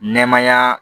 Nɛɛmaya